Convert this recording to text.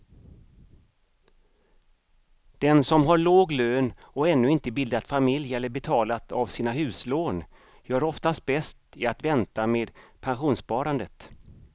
Den som har låg lön och ännu inte bildat familj eller betalat av sina huslån gör oftast bäst i att vänta med pensionssparandet.